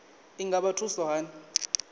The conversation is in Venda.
i nga vha thusa hani